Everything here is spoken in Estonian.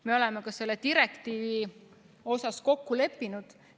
Me oleme ka selle direktiivi suhtes kokku leppinud.